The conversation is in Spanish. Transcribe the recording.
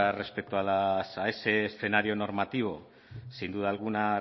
respecto a ese escenario normativo sin duda alguna